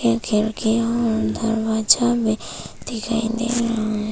खिड़कियां और दरवाजा भी दिखाई दे रहा है।